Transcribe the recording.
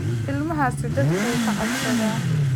Ilmahaasi dadka wuu ka cabsadaa